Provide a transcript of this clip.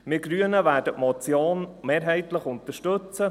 Wir Grünen werden die Motion mehrheitlich unterstützen.